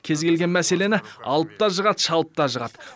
кез келген мәселені алып та жығады шалып та жығады